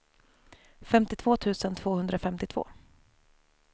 femtiotvå tusen tvåhundrafemtiotvå